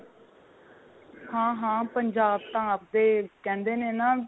ਹਾਂ ਹਾਂ ਪੰਜਾਬ ਤਾਂ ਆਪੇ ਕਹਿੰਦੇ ਨੇ ਨਾ